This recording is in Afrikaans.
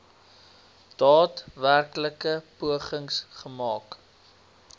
daadwerklike pogings gemaak